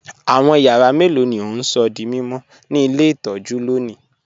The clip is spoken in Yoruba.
Awọn yàrà mẹ́lọ̀ ni o n sọ̀ dí mímọ̀ ni ilẹ̀ itọ̀jú lónì?